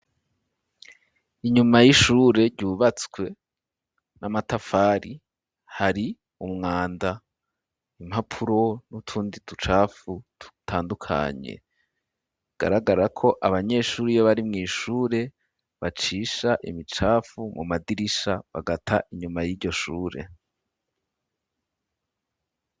Inyuma y'ishure ryubatswe n'amatafari ,hari umwanda ,impapuro n'utundi tucafu tutandukanye ,bigaragara ko abanyeshuri iyo bari mw' ishure bacisha imicafu mu madirisha, bagata inyuma y'iryoshure.